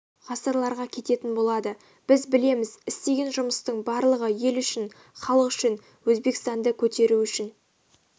ғасырларға кететін болады біз білеміз істеген жұмыстың барлығы ел үшін халық үшін өзбекстанды көтеру үшін